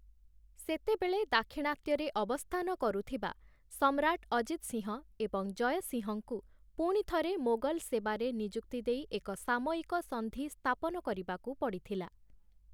ସେତେବେଳେ ଦାକ୍ଷିଣାତ୍ୟରେ ଅବସ୍ଥାନ କରୁଥିବା, ସମ୍ରାଟ ଅଜିତ ସିଂହ ଏବଂ ଜୟ ସିଂହଙ୍କୁ ପୁଣି ଥରେ, ମୋଗଲ ସେବାରେ ନିଯୁକ୍ତି ଦେଇ ଏକ ସାମୟିକ ସନ୍ଧି ସ୍ଥାପନ କରିବାକୁ ପଡ଼ିଥିଲା ।